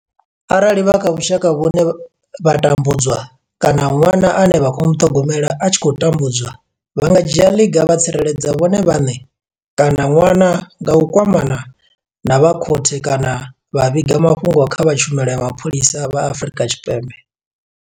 Arali vha kha vhushaka vhune vha tambudzwa kana ṅwana ane vha khou muṱhogomela a tshi khou tambudzwa, vha nga dzhia ḽiga vha tsireledza vhone vhaṋe kana ṅwana nga u kwamana na vha khothe kana vha vhiga mafhungo kha vha Tshumelo ya Mapholisa vha Afrika Tshipembe.